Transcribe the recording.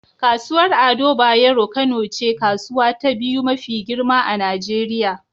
Kasuwar Ado Bayero Kano ce kasuwa ta biyu mafi girma a Nijeriya.